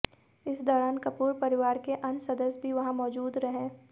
इस दौरान कपूर परिवार के अन्य सदस्य भी वहां मौजूद रहे